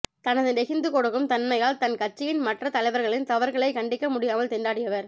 தனது நெகிழ்ந்து கொடுக்கும் தன்மையால் தன் கட்சியின் மற்றத் தலைவர்களின் தவறுகளை கண்டிக்க முடியாமல் திண்டாடியவர்